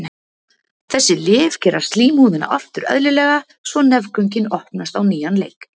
Þessi lyf gera slímhúðina aftur eðlilega svo nefgöngin opnast á nýjan leik.